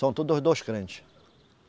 São todos os dois crente.